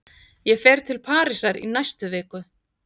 Ég fer til Parísar í næstu viku.